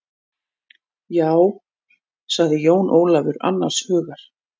Já, sagði Jón Ólafur annars hugar.